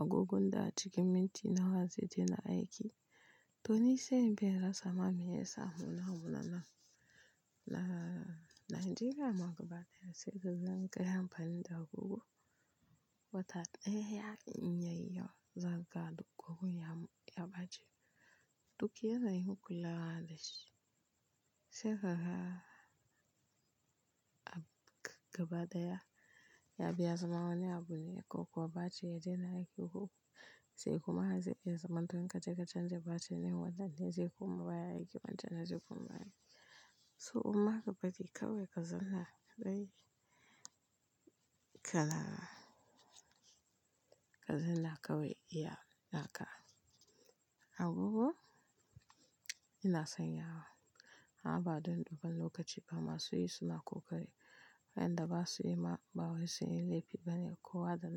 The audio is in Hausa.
agogon da a cikin minti nawa zai daina aiki. To ni sai in bi in rasa ma meyasa mu namu na nan. Na, Najeriya ma gaba daya sai kaga in kai amfani da agogo, wata ɗaya ya yi inyayi yawa zakaga duk gogon ya, ya bace. Duk yana yin kula da shi. Sai kaga a gabadaya ya bi ya zama wani abu ne ko kuwa bace ya daina aiki agogo. Sai kuma har zai biya zaman don ka je ka canza batir ne wannan ne zai koma baya aiki man ta na zai koma baya. So amma ka bari kawai ka zanna dai kala, ka zanna kawai iya naka. Agogo ina sanya wa, amma ba don duba lokaci ba ma su yi suna ƙoƙari, wayanda ba su yi ma, ba wai sun yi laifi bane ko kowa da na.